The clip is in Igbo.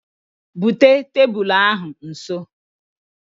Bute tebulu ahụ nso